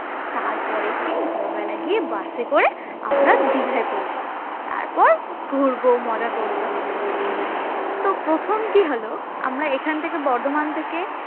তারপরের দিন ভোর বেলায় গিয়ে bus এ করে আমরা দীঘায় পৌছাবো তারপর ঘুরবো মজা করব তো প্রথম কি হলো আমরা এখান থেকে বর্ধমান থেকে